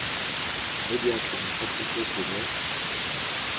mo diatleng tsa puso gongwe